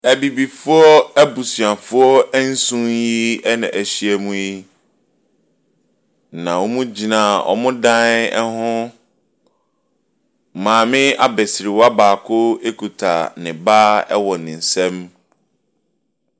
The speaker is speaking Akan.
Abibifoɔ abusuafoɔ ɛnson yi na ɛhyia mu yi. Na wɔn gyina wɔn dan ho. Maame abɛsiriwa baako ekuta ne ba ɛwɔ ne nsam.